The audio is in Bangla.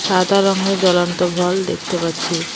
সাদা রঙের জ্বলন্ত ভল দেখতে পাচ্ছি।